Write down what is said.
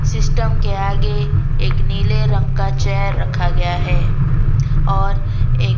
system के आगे एक नीले रंग का चेयर रखा गया है और एक--